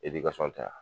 tɛ yan